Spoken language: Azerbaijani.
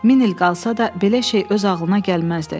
Min il qalsa da, belə şey öz ağlına gəlməzdi.